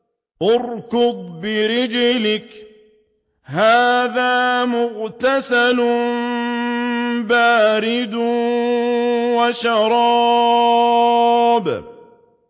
ارْكُضْ بِرِجْلِكَ ۖ هَٰذَا مُغْتَسَلٌ بَارِدٌ وَشَرَابٌ